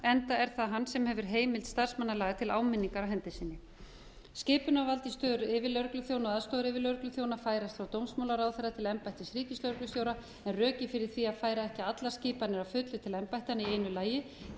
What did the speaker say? enda er það hann sem hefur heimild starfsmannalaga til áminningar á hendi sinni skipunarvald í stöðu yfirlögregluþjóna og aðstoðaryfirlögregluþjóna færast frá dómsmálaráðherra til embættis ríkislögreglustjóra en rökin fyrir því að færa ekki allar skipanir að fullu til embætta í einu lagi eru